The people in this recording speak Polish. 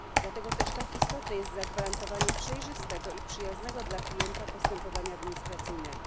Dlatego też tak istotne jest zagwarantowanie przejrzystego i przyjaznego dla klienta postępowania administracyjnego.